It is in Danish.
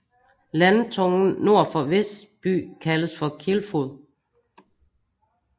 Landtungen nord for Vesby kaldes for Kilfod